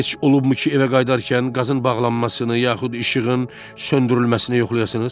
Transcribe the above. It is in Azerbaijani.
Bəs heç olubmu ki, evə qayıdarkən qazın bağlanmasını yaxud işığın söndürülməsini yoxlayasınız?